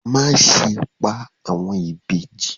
Má ṣe pa àwọn ìbejì.